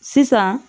Sisan